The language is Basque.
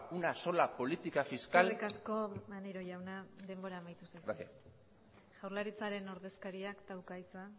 una sola política fiscal eskerrik asko maneiro jauna denbora amaitu zaizu gracias jaurlaritzaren ordezkariak dauka hitza